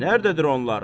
Nərdədir onlar?